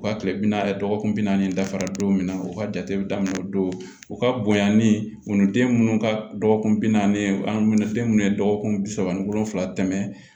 U ka kile bi naani dɔgɔkun bi naani dafara don min na o ka jate bi daminɛ o don u ka bonyan ni wuluden minnu ka dɔgɔkun bi naani u ni den munnu ye dɔgɔkun bi saba ni wolonvila tɛmɛn